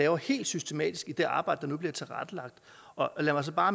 er helt systematisk i det arbejde der nu bliver tilrettelagt og lad mig så bare